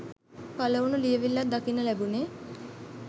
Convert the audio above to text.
පළවුණු ලියැවිල්ලක් දකින්න ලැබුණේ.